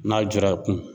N'a jɔra i kun